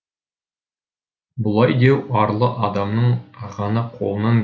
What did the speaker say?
бұлай деу арлы адамның ғана қолынан